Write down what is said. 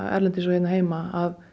erlendis og hér heima